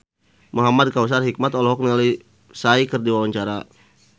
Muhamad Kautsar Hikmat olohok ningali Psy keur diwawancara